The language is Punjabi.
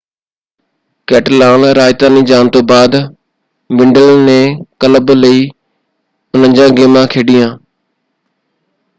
ਕੈਟਲਾਨ-ਰਾਜਧਾਨੀ ਜਾਣ ਤੋਂ ਬਾਅਦ ਵਿਡਲ ਨੇ ਕਲੱਬ ਲਈ 49 ਗੇਮਾਂ ਖੇਡੀਆਂ।